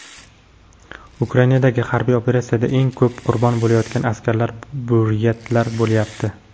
Ukrainadagi harbiy operatsiyada eng ko‘p qurbon bo‘layotgan askarlar buryatlar bo‘layapti.